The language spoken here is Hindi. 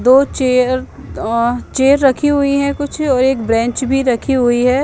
दो चेर चेर रखि हुई हे और एक बेंच भी रखी हुई हे ।